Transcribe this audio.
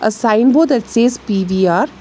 A sign board that says P_V_R.